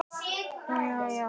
Hún amma var ótrúleg kona.